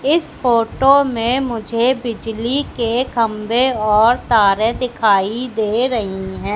इस फोटो में मुझे बिजली के खंभे और तारें दिखाई दे रही हैं।